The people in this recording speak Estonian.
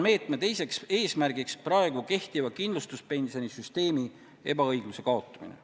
Meetme teiseks eesmärgiks on praegu kehtiva kindlustuspensionisüsteemi ebaõigluse kaotamine.